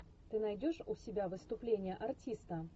ты найдешь у себя выступление артиста